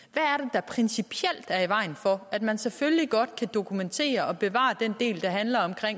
der principielt er i vejen for at man selvfølgelig godt kan dokumentere og bevare den del der handler om